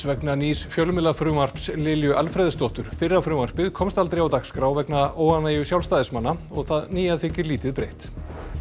vegna nýs fjölmiðlafrumvarps Lilju Alfreðsdóttur fyrra frumvarpið komst aldrei á dagskrá vegna óánægju Sjálfstæðismanna og það nýja þykir lítið breytt